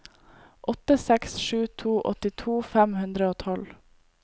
åtte seks sju to åttito fem hundre og tolv